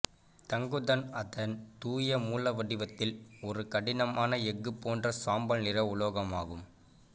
தங்குதன் அதன் தூய மூலவடிவத்தில் ஒரு கடினமான எஃகு போன்ற சாம்பல் நிற உலோகமாகும்